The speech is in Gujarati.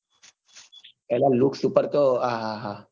એના look ઉપર તો આહાહા